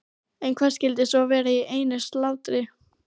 En hvað skyldi svo vera í einu slátri?